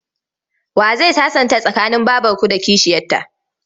Wa zai sasanta tsakanin babarku da kishiyarta?